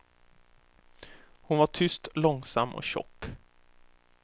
Hon var tyst, långsam och tjock.